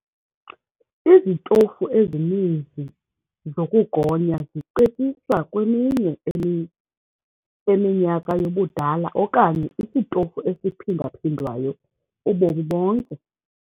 Izitofu ezininzi zokugonya zicetyiswa kweminye eminyaka yobudala okanye isitofu esiphinda-phindwayo ubomi bonke.